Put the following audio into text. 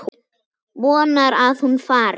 Vonar að hún fari.